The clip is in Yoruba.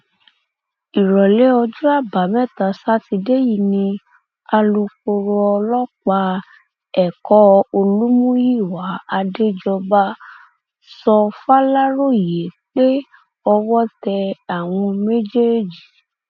ìrọlẹ ọjọ àbámẹta sátidé yìí ni alūkkóró ọlọpàá ẹkọ olùmúyíwá àdéjọba sọ faláròyé pé owó tẹ àwọn méjèèjì